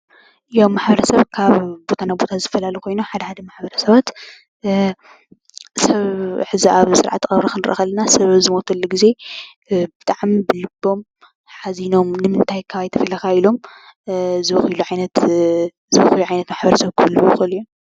ማሕበረሰብ ካብ ቦታ ናብ ቦታ ዝፈላለዩ ኮይኑ ሓደ ሓደ ማሕበረሰባት ሰብ ሕዚ ኣብ ስርዓተ ቀብሪ ክንርኢ ከለና ሰብ ኣብ ዝሞተሉ ግዜ ብጣዕሚ ብልቦም ሓዚኖም ንምንታይ ካባይ ተፈሊኻ ኢሎም ዝበኽይሉ ዓይነት ማሕበረሰብ ክህልዉ ይኽእሉ እዮም፡፡